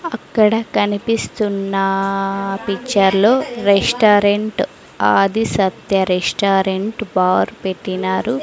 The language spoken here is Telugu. అక్కడ కనిపిస్తున్నా పిక్చర్ లో restaurant Adi Satya restaurant bar పెట్టినారు.